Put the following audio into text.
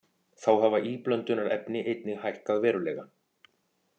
Þá hafa íblöndunarefni einnig hækkað verulega